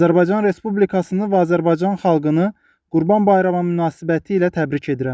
Azərbaycan Respublikasını və Azərbaycan xalqını Qurban Bayramı münasibətilə təbrik edirəm.